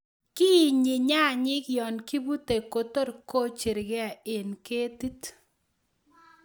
Kiinyi nyayik yon kibute kotor kocherge e ketit.